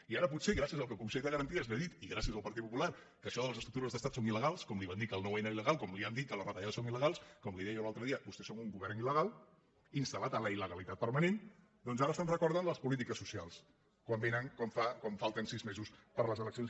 i ara potser gràcies al que el consell de garanties li ha dit i gràcies al partit popular que això de les estructures d’estat són il·legals com li van dir que el nou n era ilque les retallades són il·legals com li deia jo l’altre dia vostès són un govern il·legal instalpermanent doncs ara se’n recorden de les polítiques socials quan falten sis mesos per a les eleccions